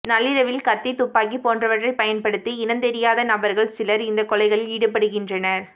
நள்ளிரவில் கத்தி துப்பாக்கி போன்றவற்றை பயன்படுத்தி இனந்தெரியாத நபர்கள் சிலர் இந்த கொலைகளில் ஈடுபடுகின்றனர்